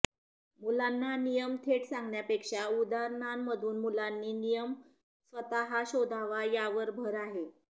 मुलांना नियम थेट सांगण्यापेक्षा उदाहरणांमधून मुलांनी नियम स्वतःच शोधावा यावर भर आहे